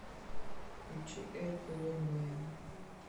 включи эрику лундмоен